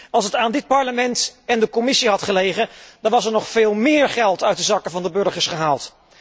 Als het aan dit Parlement en de Commissie had gelegen, dan was er nog veel meer geld uit de zakken van de burgers gehaald.